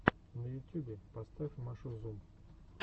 на ютюбе поставь машу зум